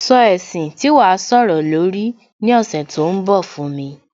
Sọ ẹ̀sìn tí wàá sọ̀rọ̀ lórí ní ọ̀sẹ̀ tó ń bọ̀ fún mi